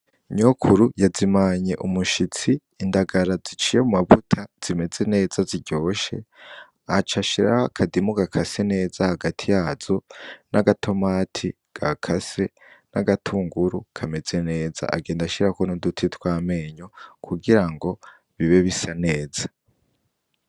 Nyokuru yazimanye umushitsi indagara ziciye mu mavuta zimeze neza ziryoshe aca ashiraho akadimu gakase neza hagati yazo n'agatomati ga kase n'agatunguru kameze neza agenda ashirako nuduti twamenyo kugira ngo bibe bisa neza.